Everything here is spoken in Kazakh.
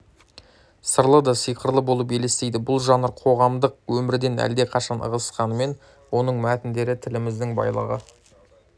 сырлы да сиқырлы болып елестейді бұл жанр қоғамдық өмірден әлдеқашан ығысқанымен оның мәтіндері тіліміздің байлығы